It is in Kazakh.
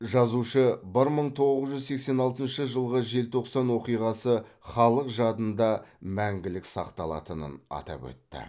жазушы бір мың тоғыз жүз сексен алтыншы жылғы желтоқсан оқиғасы халық жадында мәңгілік сақталатынын атап өтті